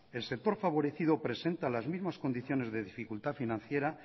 el sector favorecido presenta las mismas condiciones de dificultad financiera